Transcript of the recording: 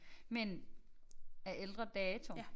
Men af ældre dato